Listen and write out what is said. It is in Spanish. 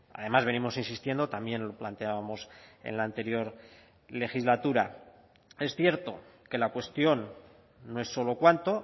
además venimos insistiendo también lo planteábamos en la anterior legislatura es cierto que la cuestión no es solo cuánto